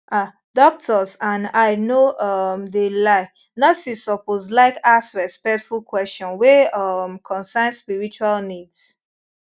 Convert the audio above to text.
ah doctors and i no um de lie nurses suppose laik ask respectful kweshion wey um concern spiritual needs